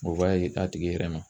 O b'a ye t'a tigi yɛrɛ ma